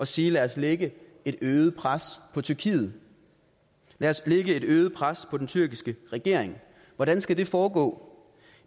sige lad os lægge et øget pres på tyrkiet lad os lægge et øget pres på den tyrkiske regering hvordan skal det foregå